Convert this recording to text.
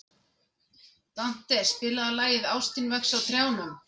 Dante, spilaðu lagið „Ástin vex á trjánum“.